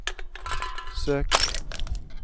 søk